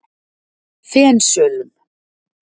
Fensölum